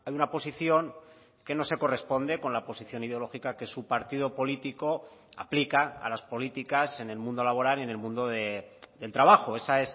una posición que no se corresponde con la posición ideológica que su partido político aplica a las políticas en el mundo laboral y en el mundo del trabajo esa